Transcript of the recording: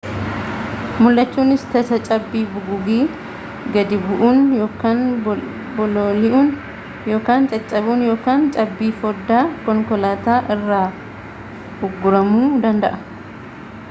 muldhachuunis tasa cabbi bugugii gadi bu'uun yookaan bololi'uun yookaan cabbaa'uun yookaan cabbii foddaa konkolaataa irraan ugguramuu danda'a